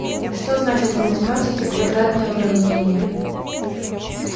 что значит в математике квадратное уравнение